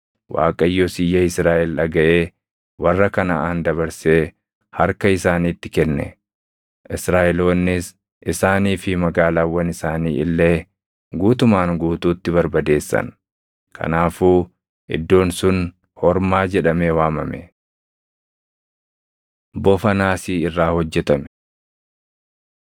Waaqayyos iyya Israaʼel dhagaʼee warra Kanaʼaan dabarsee harka isaaniitti kenne. Israaʼeloonnis isaanii fi magaalaawwan isaanii illee guutumaan guutuutti barbadeessan; kanaafuu iddoon sun Hormaa jedhamee waamame. Bofa Naasii Irraa Hojjetame